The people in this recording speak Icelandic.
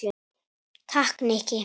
Takk, Nikki